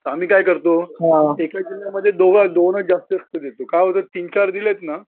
तर आम्ही काय करतो एका जिल्ह्यामध्ये दोनच जास्त देतो काय होतं तीन चार दिलेत ना